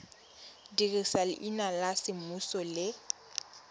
dirisa leina la semmuso le